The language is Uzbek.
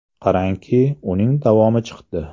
Qarangki, uning davomi chiqdi .